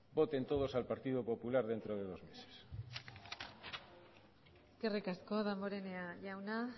voten todos al partido popular dentro de dos meses eskerrik asko damborenea jauna